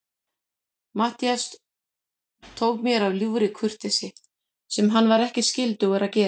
Matthías tók mér af ljúfri kurteisi, sem hann var ekkert skyldugur að gera.